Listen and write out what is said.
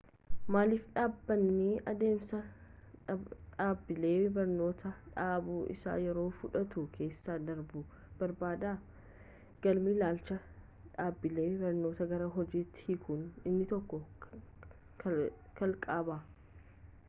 maaliif dhaabbanni adeemsa dhaabbilee barnoota dhaabuu isa yeroo fudhatu keessa darbuu barbaada galmi ilaalcha dhaabbilee barnoota gara hojiitti hiikuu inni tokko kalaqadha